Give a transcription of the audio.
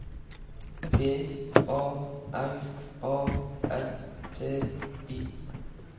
G A R A N T I